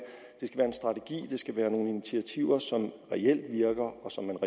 strategi det skal være nogle initiativer som reelt virker